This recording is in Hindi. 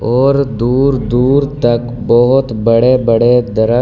और दूर-दूर तक बहौत बड़े-बड़े दरख़ --